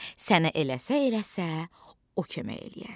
Sənə eləsə-eləsə, o kömək eləyər.